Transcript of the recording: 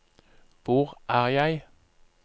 hvor er jeg